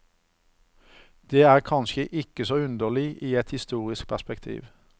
Det er kanskje ikke så underlig i et historisk perspektiv.